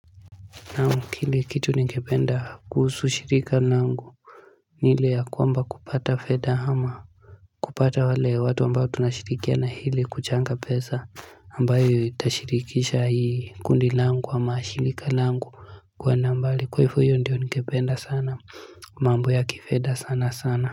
Naam kile kitu ningependa kuhusu shirika langu ni ile ya kwamba kupata feda hama kupata wale watu ambao tunashirikiana hili kuchanga pesa ambayo itashirikisha hii kundi langu ama shirika langu kwa nambali kwa ifo hiyo ndiyo ningependa sana mambo ya kifeda sana sana.